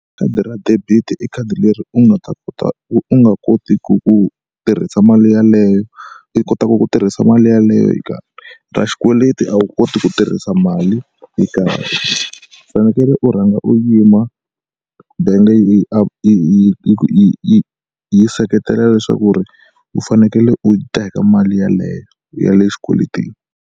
Khadi ra debit i khadi leri u nga ta kota u nga kotiku ku tirhisa mali yeleyo, i kotaka ku tirhisa mali yeleyo yo karhi. Ra xikweleti a wu koti ku tirhisa mali yo karhi, u fanekele u rhanga u yima bank yi yi yi yi yi yi seketela leswaku ri u fanekele u yi teka mali yeleyo ya le xikweletini.